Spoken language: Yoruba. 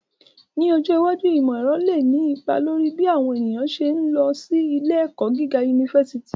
Ni ojo iwaju, imọ-ẹrọ le ni ipa lori bi awọn eniyan ṣe ń lọ si ile-ẹkọ giga unifásitì